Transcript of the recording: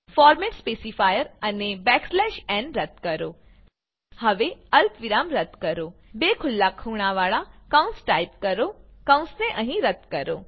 format specifier અને n રદ્દ કરો હવે અલ્પવિરામ રદ્દ કરો બે ખુલ્લા ખૂણાવાળા કૌંસ ટાઈપ કરો કૌંસને અહીં રદ્દ કરો